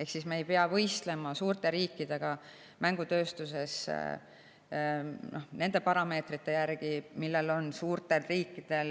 Ehk me ei pea mängutööstuses võistlema suurte riikidega nende parameetrite järgi, mille puhul on suurtel riikidel